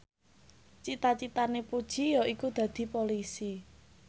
cita citane Puji yaiku dadi Polisi